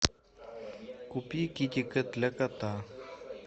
купи китикет для кота